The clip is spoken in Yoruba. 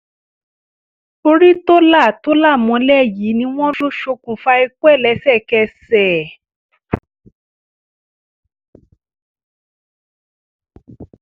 orí tó là tó là mọ́lẹ̀ yìí ni wọ́n ló ṣokùnfà ikú ẹ̀ lẹ́sẹ̀kẹsẹ̀